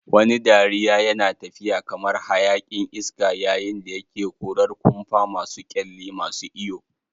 Wani dariya yana tafiya kamar hayaƙin iska yayin da yake korar kumfa masu kyalli, masu iyo.